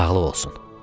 Sağlıq olsun.